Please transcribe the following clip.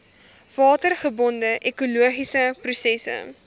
watergebonde ekologiese prosesse